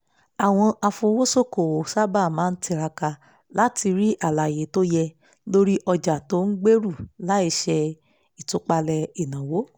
àwọn afowósókòwò sáábà máa tiraka láti rí alàyé tó yẹ lórí ọ̀jà tó ń gbèrú láìṣe ìtúpalẹ̀ ìnáwó